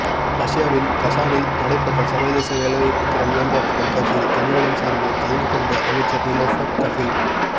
ரஷ்யாவின் கசானில் நடைபெற்ற சர்வதேச வேலைவாய்ப்பு திறன் மேம்பாட்டு கண்காட்சியில் தமிழகம் சார்பில் கலந்து கொண்ட அமைச்சர் நிலோஃபர் கஃபீல்